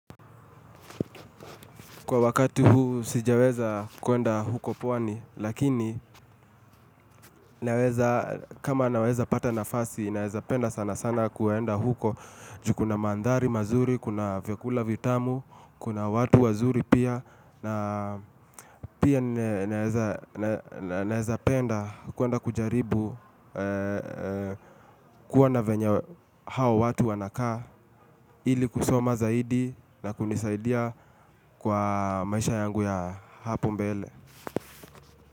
Kwa wakati huu sijaweza kuenda huko pwani, lakini naweza, kama naweza pata nafasi, naweza penda sana sana kuenda huko. Jukuna mandari mazuri, kuna vyakula vitamu, kuna watu wazuri pia, na pia naweza penda kuenda kujaribu. Kuwana venya hao watu wanakaa, ili kusoma zaidi na kunisaidia kwa maisha yangu ya hapo mbele.